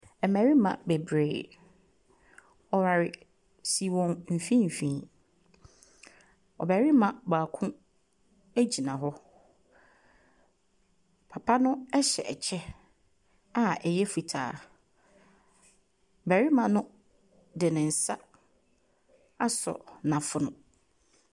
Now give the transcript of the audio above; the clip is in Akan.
Mmarima bebree. Ɔware si wɔn mfimfini. Ɔbarima baako gyina hɔ. Papa no hyɛ kyɛ a ɛyɛ fitaa. Barima no de ne nsa asɔ n'afono.